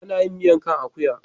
Ana yin miyar kan akuya.